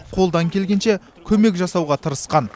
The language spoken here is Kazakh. қолдан келгенше көмек жасауға тырысқан